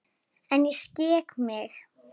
En ég skek mig.